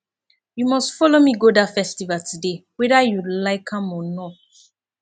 you must follow me go dat festival today whether you like am or not